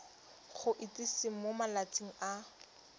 go itsise mo malatsing a